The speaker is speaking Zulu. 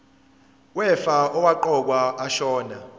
wefa owaqokwa ashona